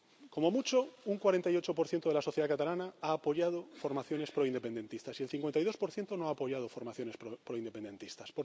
Como mucho, un 48 de la sociedad catalana ha apoyado formaciones proindependentistas y el 52 no ha apoyado formaciones proindependentistas.